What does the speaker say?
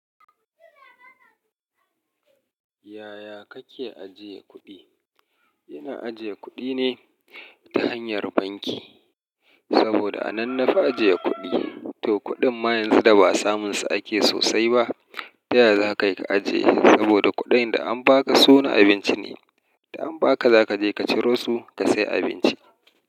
Yaya kake ajiye kuɗi? Ina ajiye kuɗi ne ta hanyar banki, saboda a nan na fi ajiye kuɗi. To kuɗin ma yanzu da ba samun sa ake sosai ba, ta ya za ka yi ka ajiye? Saboda kuɗin da an ba ka su na abinci ne, da an ba ka za ka je ka ciro su ka sai abinci.